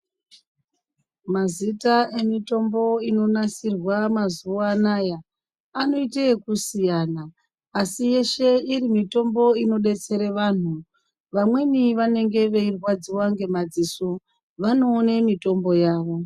Mazita emitombo inonasirwe mazuwa anaya anoite ekusiyana asi yeshe iri mitombo inodetsere vanhu vamweni vanenge veirwadziwa ngemadziso vanoone mitombo yavo.